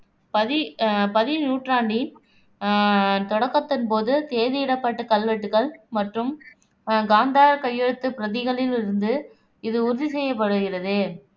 பதி அஹ் பதிநூற்றாண்டின் அஹ் தொடக்கத்தின் போது தேதியிடப்பட்ட கல்வெட்டுகள் மற்றும் காந்தாரக் கையெழுத்துப் பிரதிகளில் இருந்து இது உறுதிசெய்யப்படுகிறது